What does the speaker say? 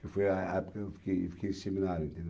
que foi a a época em que eu fiquei fiquei em seminário, entendeu?